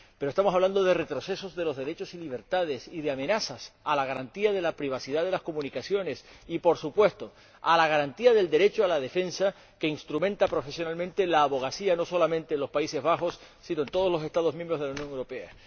Pero estamos hablando de retrocesos de los derechos y libertades y de amenazas a la garantía de la privacidad de las comunicaciones y, por supuesto, a la garantía del derecho a la defensa, que instrumenta profesionalmente la abogacía, no solamente en los Países Bajos, sino en todos los Estados miembros de la Unión Europea.